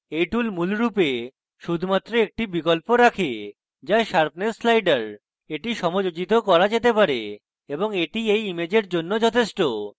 এই tool মূলরূপে শুধুমাত্র একটি বিকল্প রাখে যা sharpness slider এটি সমাযোজিত করা যেতে পারে এবং এটি এই ইমেজের জন্য যথেষ্ট